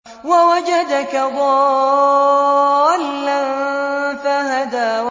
وَوَجَدَكَ ضَالًّا فَهَدَىٰ